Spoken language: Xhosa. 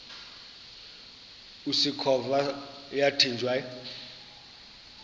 usikhova yathinjw a